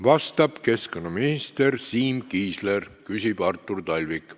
Vastab keskkonnaminister Siim Kiisler, küsib Artur Talvik.